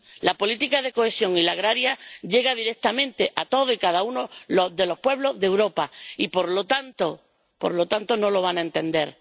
La política de cohesión y la agraria llegan directamente a todos y cada uno de los pueblos de Europa y, por lo tanto, estos no lo van a entender.